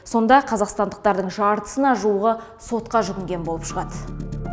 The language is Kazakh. сонда қазақстандықтардың жартысына жуығы сотқа жүгінген болып шығады